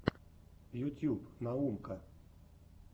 ютьюб наумка